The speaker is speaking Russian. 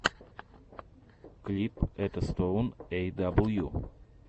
клип этостоун эй дабл ю